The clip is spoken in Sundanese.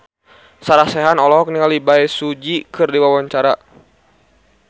Sarah Sechan olohok ningali Bae Su Ji keur diwawancara